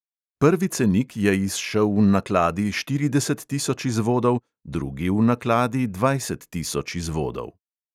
Prvi cenik je izšel v nakladi štirideset tisoč izvodov, drugi v nakladi dvajset tisoč izvodov.